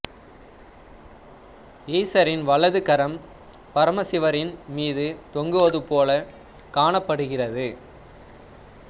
ஈசரின் வலது கரம் பரமசிவரின் மீது தொங்குவது போல காணப்படுகிறது